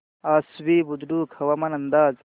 आश्वी बुद्रुक हवामान अंदाज